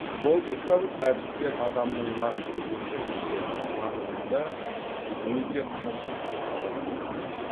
логикалық әдістер адамның накты өмірінде тануында өте қажетті кұрал болмақ